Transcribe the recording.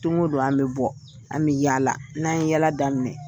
Don o don an bɛ bɔ an bɛ yaala n'an ye yaala daminɛ